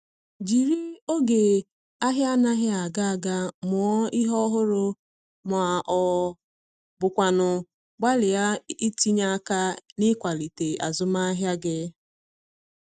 Jiri oge ahia anaghi aga aga mụọ ihe ọhụrụ ma ọ bụkwanụ gbalịa itinye aka n’ịkwalite azụmahịa gị